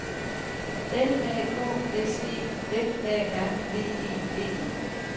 L A K S E F A R V E D E